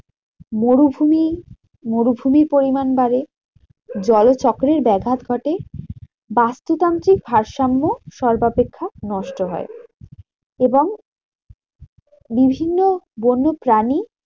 মরুভুমি মরুভুমি পরিমান বাড়ে জলচক্রের ব্যাঘাত ঘটে। বস্তুতান্ত্রিক ভারসাম্য সর্বাপেক্ষা নষ্ট হয়। এবং বিভিন্ন বন্য প্রাণী